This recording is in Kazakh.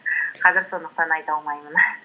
қазір сондықтан айта алмаймын